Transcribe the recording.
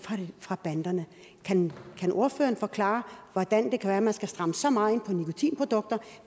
fra banderne kan ordføreren forklare hvordan det kan være at man skal stramme så meget op på nikotinprodukter